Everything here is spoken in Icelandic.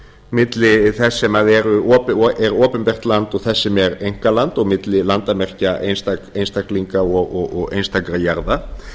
milli þess sem er opinbert land og þess sem er einkaland og milli landamerkja einstaklinga og einstakra jarða